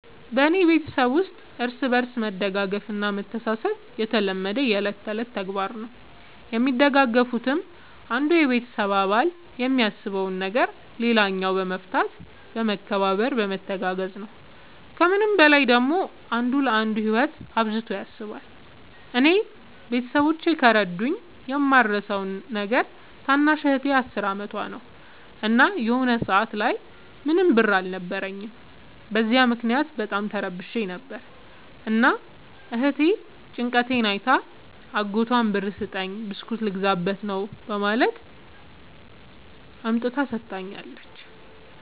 በኔ ቤተሠብ ውስጥ እርስ በርስ መደጋገፍ እና መተሣሠብ የተለመደና የእለት ከእለት ተግባር ነው። የሚደጋገፉትም አንዱ የቤተሰብ አባል የሚያሳስበውን ነገር ሌላኛው በመፍታት በመከባበር በመተጋገዝ ነው። ከምንም በላይ ደግሞ አንዱ ለአንዱ ህይወት አብዝቶ ያስባል። እኔ ቤተሠቦቼ ከረዱኝ የማረሣው ነገር ታናሽ እህቴ አስር አመቷ ነው። እና የሆነ ሰአት ላይ ምንም ብር አልነበረኝም። በዚያ ምክንያት በጣም ተረብሼ ነበር። እና እህቴ ጭንቀቴን አይታ አጎቷን ብር ስጠኝ ብስኩት ልገዛበት ነው በማለት አምጥታ ሠጥታኛለች።